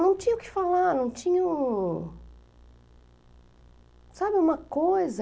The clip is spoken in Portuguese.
Não tinha o que falar, não tinha um... Sabe, uma coisa...